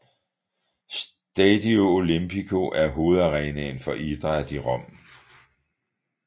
Stadio Olimpico er hovedarenaen for idræt i Rom